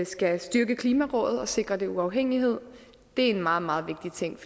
skal styrke klimarådet og sikre den uafhængighed det er en meget meget vigtig ting